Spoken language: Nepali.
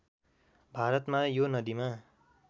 भारतमा यो नदिमा